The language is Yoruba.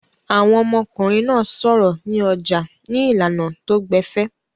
Àwọn ọmọkùnrin náà sọ̀rọ̀ ní ọjà ní ìlànà tó gbẹ̀fẹ̀.